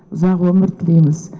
ұзақ өмір тілейміз